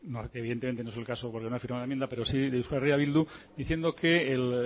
aunque evidentemente no es el caso porque no ha firmado la enmienda pero sí de euskal herria bildu diciendo que el